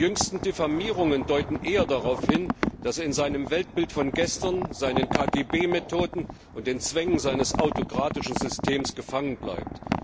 Die jüngsten Diffamierungen deuten eher darauf hin, dass er in seinem Weltbild von gestern, seinen KGB Methoden und den Zwängen seines autokratischen Systems gefangen bleibt.